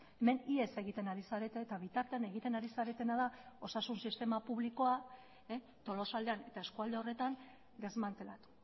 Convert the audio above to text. hemen ihes egiten ari zarete eta bitartean egiten ari zaretena da osasun sistema publikoa tolosaldean eta eskualde horretan desmantelatu